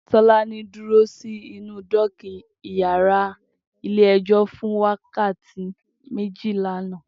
Tolani dúró si nú dòkí iyàrá ilé èjò fún wàkàátí mèjí làná